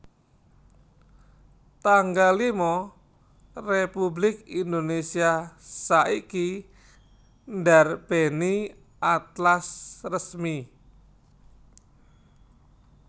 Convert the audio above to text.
tanggal lima Republik Indonesia saiki ndarbèni Atlas Resmi